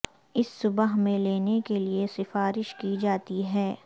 اس صبح میں لینے کے لئے سفارش کی جاتی ہے